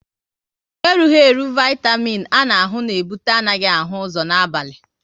Erughi eru Vaitamin A na ahụ na ebute anaghị ahụ ụzọ n'abali